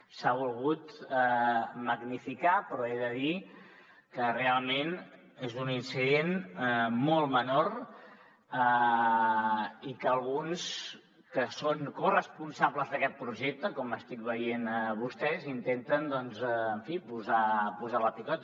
s’ha volgut magnificar però he de dir que realment és un incident molt menor i que alguns que són corresponsables d’aquest projecte com estic veient en vostès intenten en fi posar la picota